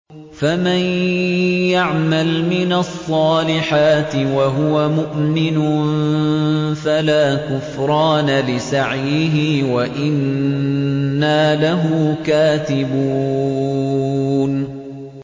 فَمَن يَعْمَلْ مِنَ الصَّالِحَاتِ وَهُوَ مُؤْمِنٌ فَلَا كُفْرَانَ لِسَعْيِهِ وَإِنَّا لَهُ كَاتِبُونَ